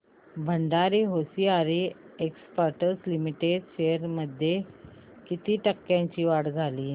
Bhandari hosiery exports limited shares मध्ये किती टक्क्यांची वाढ झाली